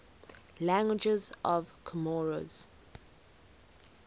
languages of comoros